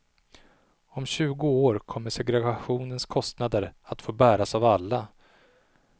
Om tjugo år kommer segregationens kostnader att få bäras av alla.